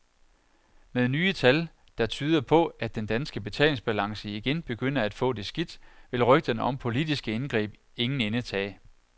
Med nye tal, der tyder på, at den danske betalingsbalance igen begynder at få det skidt, vil rygterne om politiske indgreb ingen ende tage.